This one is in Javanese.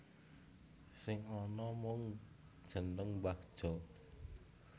Sing ana mung jeneng Mbah Jo